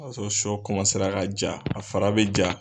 O b'a sɔrɔ sɔ ka ja, a fara bɛ ja.